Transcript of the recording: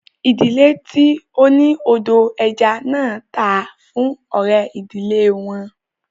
Ìdílé tí ó ni odò ẹja náà tà á fún ọ̀rẹ́ ìdílé wọn